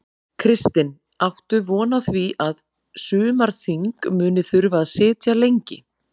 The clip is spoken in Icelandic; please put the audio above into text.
Kristinn: Áttu von á því að, að sumarþing muni þurfa að sitja lengi?